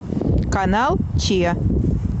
канал че